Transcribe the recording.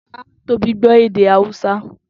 Tobi gbọ́ èdè Hàúsá